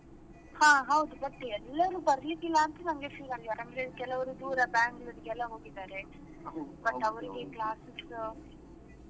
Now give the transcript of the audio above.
ಹಾ ಹೌದು but ನನ್ಗೆ ಎಲ್ಲರೂ ಬರ್ಲಿಕ್ಕಿಲ ಅಂತ ನನ್ಗೆ feel ಅಂದ್ರೆ ಕೆಲವರು ದೂರ Bangalore ಎಲ್ಲಾ ಹೋಗಿದಾರೆ ಮತ್ತೆ ಅವರಿಗೆ classes .